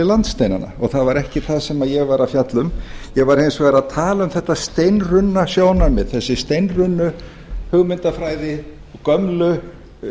landsteinana ég það var ekki það sem ég var að fjalla um ég var hins vegar að tala um þetta steinrunna sjónarmið þessa steinrunnu hugmyndafræði gömlu